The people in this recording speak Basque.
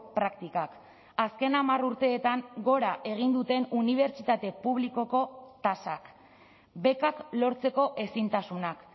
praktikak azken hamar urteetan gora egin duten unibertsitate publikoko tasak bekak lortzeko ezintasunak